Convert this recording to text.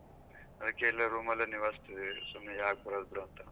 ಅದಕ್ಕೇ ಇಲ್ಲೆ room ನಿವಾಳ್ಸ್ತಿದಿವಿ ಸುಮ್ನೆ ಯಾಕ್ ಬರದು ಬಿಡು ಅಂತಾ.